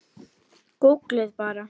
Gúgglið bara.